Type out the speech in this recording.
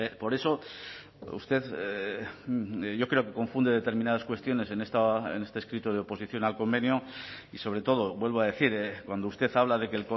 por eso usted yo creo que confunde determinadas cuestiones en este escrito de oposición al convenio y sobre todo vuelvo a decir cuando usted habla de que